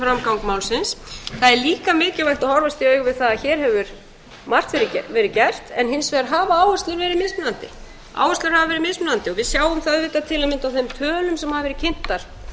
framgang málsins það er líka mikilvægt að horfast í augu við það að hér hefur margt verið gert en hins vegar hafa áherslur verið mismunandi við sjáum það til að mynda á þeim tölum sem hafa verið kynntar